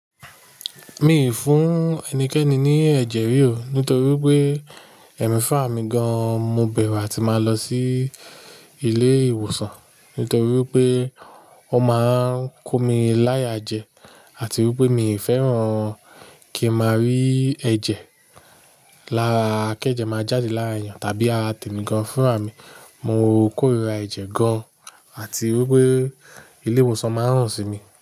Mi ò fún ẹnikẹ́ni ní ẹ̀jẹ̀ ríò nítorí pé ẹ̀mí fún ràmi gan-an. Mo bẹ̀rù à ti máa lọ sí ilé ìwòsàn nítorí pé wọ́n máa ń kó mi láya jẹ àti wí pé mi ò fẹ́ràn kí n máa rí ẹ̀jẹ̀ lára kẹ́jẹ̀ máa jáde lára èyàn tàbí ára tẹ̀mí gan-an fúnràá mi. Mo kórira ẹ̀jẹ̀ gan-an àti wí pé ilé ìwòsàn máa run sí mi.